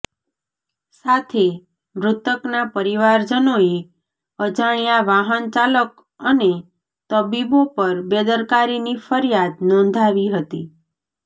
સાથે મૃતકના પરિવારજનોએ અજાણ્યા વાહન ચાલક અને તબીબો પર બેદરકારીની ફરીયાદ નોંધાવી હતી